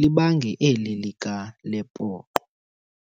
libange eli likaLepoqo."